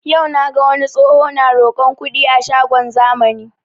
Yau naga wani tsoho na roƙon kuɗi a shagon zamani